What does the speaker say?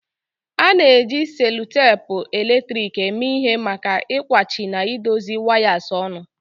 A na-eji selutepu eletrik eme ihe maka ịkwachi na idozi wires ọnụ.